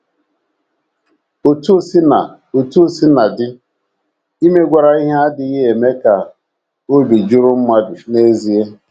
Otú o sina Otú o sina dị, imegwara ihe adịghị eme ka obi jụrụ mmadụ n’ezie.